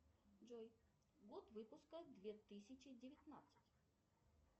джой год выпуска две тысячи девятнадцать